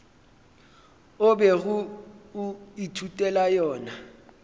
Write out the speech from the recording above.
o bego o ithutela yona